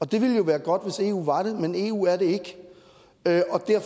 det ville jo være godt hvis eu var det men eu er det ikke